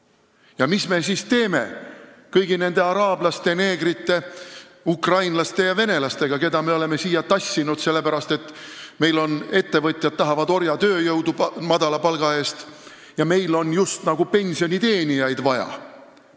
Ja mis me siis teeme kõigi nende araablaste, neegrite, ukrainlaste ja venelastega, keda me oleme siia tassinud, sellepärast et ettevõtjad tahavad madala palga eest orjatööjõudu ja meil on justnagu pensioniteenijaid vaja?